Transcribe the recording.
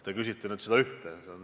Te küsite seda ühte probleemi.